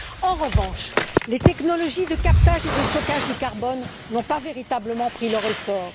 En revanche, les technologies de captage et de stockage du carbone n'ont pas véritablement pris leur essor.